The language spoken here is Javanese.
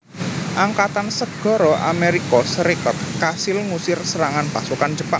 Angkatan Segara Amérika Sarékat kasil ngusir serangan pasukan Jepang